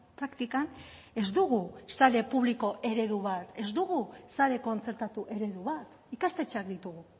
praktikan ez dugu sare publiko eredu bat ez dugu sare kontzertatu eredu bat ikastetxeak ditugu